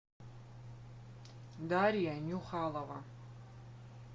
дарья нюхалова